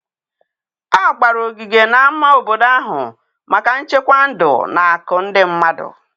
A gbara ogige na-ama obodo ahụ maka nchekwa ndụ na-akụ ndị mmadụ.